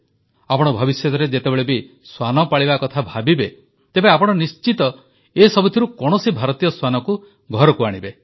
ଆପଣ ଭବିଷ୍ୟତରେ ଯେତେବେଳେ ବି ଶ୍ୱାନ ପାଳିବା କଥା ଭାବିବେ ତେବେ ଆପଣ ନିଶ୍ଚିତ ଏସବୁଥିରୁ କୌଣସି ଭାରତୀୟ ଶ୍ୱାନକୁ ଘରକୁ ଆଣିବେ